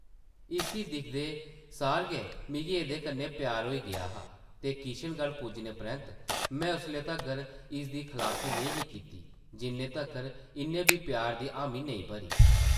इसी दिखदे सार गै मिगी एह्दे कन्नै प्यार होई गेआ हा ते किशनगढ़ पुज्जने परैंत्त में उसले तगर इसदी खलासी नेईं ही कीती जिन्ने तगर इन्न बी प्यार दी हामी नेईं भरी ।